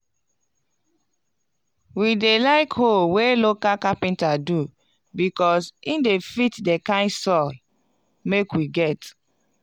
we dey like hoe wey local capenter do becos e de fit d kind soil make we get.